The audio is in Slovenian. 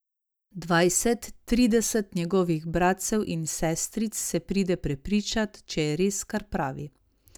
Dvajset, trideset njegovih bratcev in sestric se pride prepričat, če je res, kar pravi.